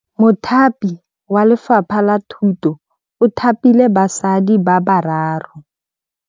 Mothapi wa Lefapha la Thutô o thapile basadi ba ba raro.